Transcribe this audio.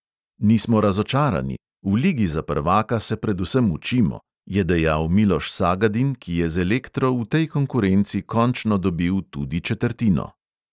"Nismo razočarani, v ligi za prvaka se predvsem učimo," je dejal miloš sagadin, ki je z elektro v tej konkurenci končno dobil tudi četrtino.